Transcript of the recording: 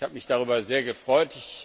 Ich habe mich darüber sehr gefreut.